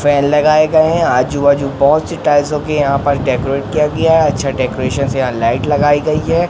Fan लगाए गए हैं आजू बाजू बहोत से टाइल्सो यहां पर डेकोरेट किया गया है अच्छा डेकोरेशन से यहां लाइट लगाई गई है।